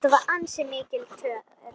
Þetta var ansi mikil törn.